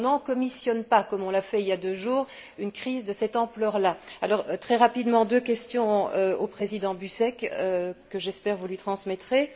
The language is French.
On n'encommissionne pas, comme on l'a fait il y a deux jours, une crise de cette ampleur là. Très rapidement, deux questions au président Buzek, que, j'espère, vous lui transmettrez.